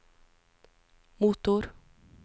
motor